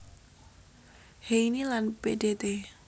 Heyni lan Pdt